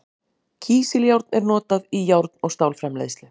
Kísiljárn er notað í járn- og stálframleiðslu.